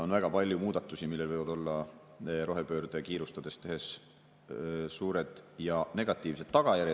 On väga palju muudatusi, millel võivad olla rohepööret kiirustades tehes suured ja negatiivsed tagajärjed.